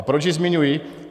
A proč ji zmiňuji?